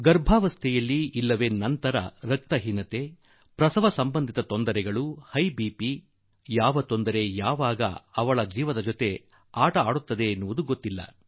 ಗರ್ಭಿಣಿಯರಾಗಿದ್ದಾಗ ಅಥವಾ ನಂತರ ರಕ್ತಹೀನತೆ ಪ್ರಸವ ಸಂಬಂಧಿ ವ್ಯತ್ಯಾಸ ಅಧಿಕ ರಕ್ತದೊತ್ತಡ ಏನೇನು ಕಷ್ಟಗಳು ಆಕೆಯ ಜೀವನವನ್ನು ಹಾಳುಗೆಡವುತ್ತದೆಯೋ ಗೊತ್ತಿಲ್ಲ